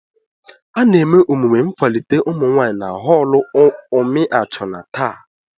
Ana eme emume nkwalite ụmụnwaanyị na họlụ umiachuna taa.